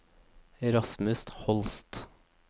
Rasmus Holst